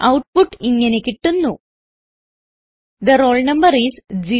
output ഇങ്ങനെ കിട്ടുന്നു the roll number is 0